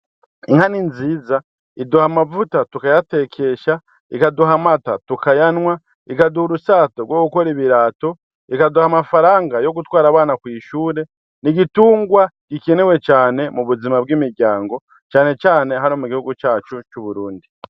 Inka ni nziza iduha amavuta tukayatekesha ikaduha amata tukayanwa ikaduha urushato gwo gukora ibirato ikaduha amafaranga yo gutwara abana kw' ishure n' igitungwa gikenewe cane mubuzima bw'imuryango cane cane hano mugihugu cacu c'Uburundi.